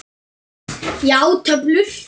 Já, töflur.